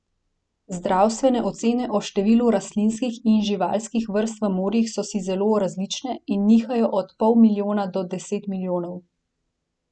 Znanstvene ocene o številu rastlinskih in živalskih vrst v morjih so si zelo različne in nihajo od pol milijona do deset milijonov.